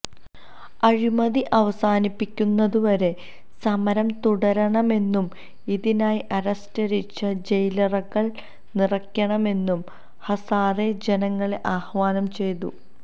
അഴിമതി അവസാനിപ്പിക്കുന്നതുവരെ സമരം തുടരണമെന്നും ഇതിനായി അറസ്റ്റ്വരിച്ച് ജയിലറകള് നിറക്കണമെന്നും ഹസാരെ ജനങ്ങളെ ആഹ്വാനം ചെയ്തു